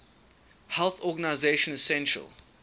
health organization essential